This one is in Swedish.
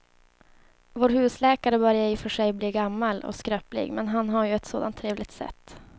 Vår husläkare börjar i och för sig bli gammal och skröplig, men han har ju ett sådant trevligt sätt!